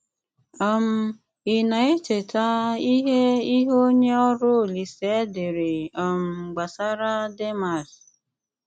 um Ị̀ na-èchè̀tà ìhè ìhè onyè ọrụ́ Òlìsè dèré um gbasàrà Dèmàs?